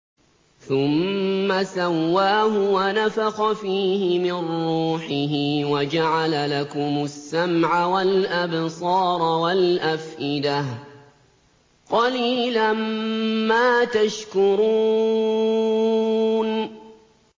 ثُمَّ سَوَّاهُ وَنَفَخَ فِيهِ مِن رُّوحِهِ ۖ وَجَعَلَ لَكُمُ السَّمْعَ وَالْأَبْصَارَ وَالْأَفْئِدَةَ ۚ قَلِيلًا مَّا تَشْكُرُونَ